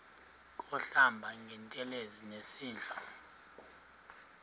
kuhlamba ngantelezi nasidlo